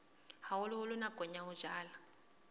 haholoholo nakong ya ho jala